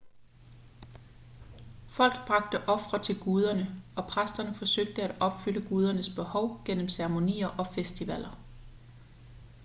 folk bragte ofre til guderne og præsterne forsøgte at opfylde gudernes behov gennem ceremonier og festivaler